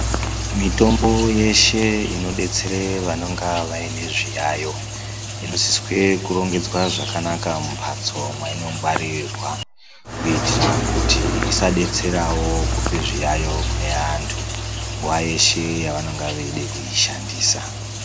Mitombo yeshe inodetsera vanonga vayine zviyayo, inosiswe kurongedzwe zvakanaka mumbatso mayinongwaririrwa kuitira kuti isadetserawo kupe zviyayo kunevantu nguwa yeshe yavanenge veyida kuyishandisa.